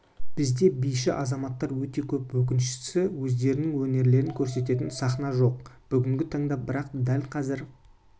бізде биші азаматтар өте көп өкініштісі өздерінің өнерлерін көрсететін сахна жоқ бүгінгі таңда бірақ дәл қазір